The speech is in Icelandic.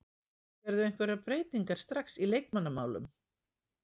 Sérðu einhverjar breytingar strax í leikmannamálum?